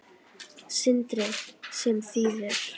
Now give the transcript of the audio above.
Sindri: Sem þýðir?